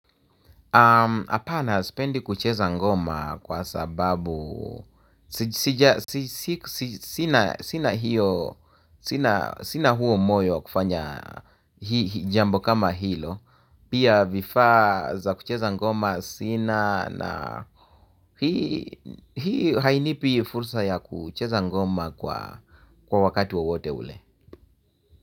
Hapana spendi kucheza ngoma kwa sababu sina huo moyo wa kufanya jambo kama hilo. Pia vifaa za kucheza ngoma sina na hii hainipi fursa ya kucheza ngoma kwa wakati wowote ule.